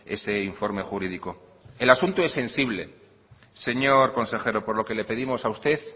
ese informe jurídico el asunto es sensible señor consejero por lo que le pedimos a usted